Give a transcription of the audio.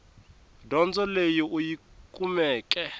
dyondzo leyi u yi kumeke